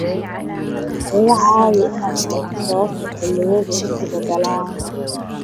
iga caawi inaan fahmo sababta xilliyadu isu beddelaan